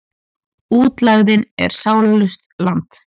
Útlegðin er sálarlaust land.